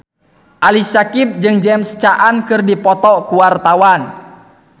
Ali Syakieb jeung James Caan keur dipoto ku wartawan